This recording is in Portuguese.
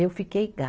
Eu fiquei ga